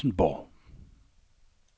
Frijsenborg